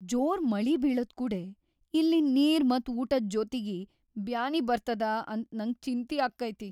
ಜೋರ್‌ ಮಳಿ ಬೀಳದ್‌ ಕೂಡೆ ಇಲ್ಲಿನ್‌ ನೀರ್‌ ಮತ್‌ ಊಟದ್ ಜೊತೀಗೆ ಬ್ಯಾನಿ ಬರ್ತದ ಅಂತ್ ನಂಗ್ ಚಿಂತಿ ಆಕ್ಕೈತಿ.